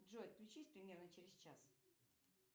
джой отключись примерно через час